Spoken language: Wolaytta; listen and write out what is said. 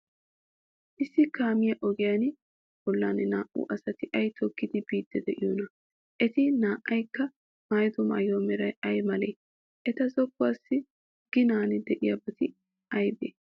Issi kaame ogiyaa bollan naa''u asati ay toggidi biiddi de'iyoonaa? Eti naa''aykka maayido maayuwaa meray ay malee? Eta zokkossa ginan de'iyabati aybee?